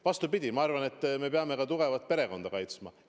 Vastupidi, ma arvan, et me peame tugevat perekonda kaitsma.